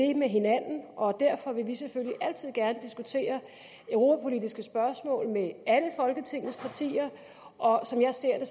det med hinanden og derfor vil vi selvfølgelig altid gerne diskutere europapolitiske spørgsmål med alle folketingets partier og som jeg ser det